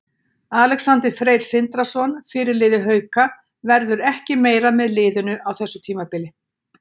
Alexander Freyr Sindrason, fyrirliði Hauka, verður ekki meira með liðinu á þessu tímabili.